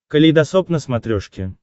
калейдосоп на смотрешке